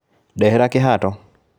Ndehera kĩhato